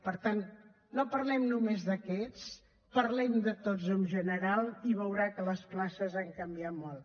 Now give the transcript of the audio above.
per tant no parlem només d’aquests parlem de tots en general i veurà que les places han canviat molt